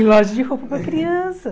Em loja de roupa para criança,